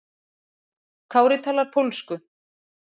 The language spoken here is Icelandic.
Kári talar pólsku.